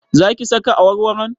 Za ki saka awarwaron?